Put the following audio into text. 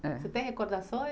É. Você tem recordações?